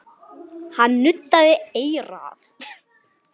Hann nuddaði eyrað.